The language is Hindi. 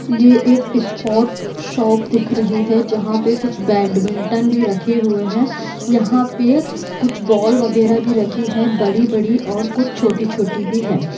यह एक स्पोर्ट शॉप दिख रही हैंजहा पे कुछ बेडमिंटन भी रखे हुए हैं यहा पे कुछ बोल वगेरह भी रखी हैं बड़ी बड़ी और कुछ छोटी छोटी भी हैं।